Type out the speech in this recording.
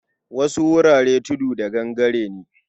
Wasu wuraren tudu da gangare ne.